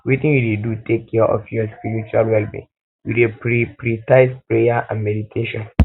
wetin you dey do to take care of your spiritual wellbeing you dey prioritize prayer and meditation